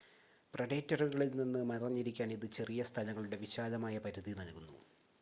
പ്രെഡേറ്ററുകളിൽ നിന്ന് മറഞ്ഞിരിക്കാൻ ഇത് ചെറിയ സ്ഥലങ്ങളുടെ വിശാലമായ പരിധി നൽകുന്നു